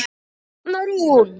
Arna Rún.